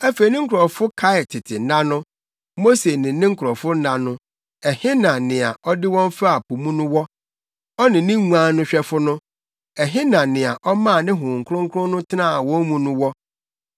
Afei ne nkurɔfo kae tete nna no, Mose ne ne nkurɔfo nna no. Ɛhe na nea ɔde wɔn faa po mu no wɔ? Ɔne ne nguan no hwɛfo no? Ɛhe na nea ɔmaa ne Honhom Kronkron no tenaa wɔn mu no wɔ,